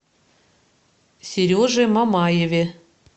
сереже мамаеве